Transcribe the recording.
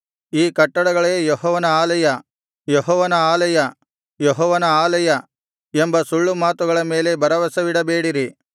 ಈ ಕಟ್ಟಡಗಳೇ ಯೆಹೋವನ ಆಲಯ ಯೆಹೋವನ ಆಲಯ ಯೆಹೋವನ ಆಲಯ ಎಂಬ ಸುಳ್ಳು ಮಾತುಗಳ ಮೇಲೆ ಭರವಸವಿಡಬೇಡಿರಿ